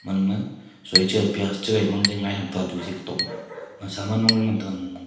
ama soichae pyas chegai mangje ngai hamtuadu digtong .]